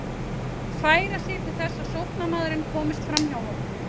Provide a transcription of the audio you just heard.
Færa sig til þess að sóknarmaðurinn komist framhjá honum?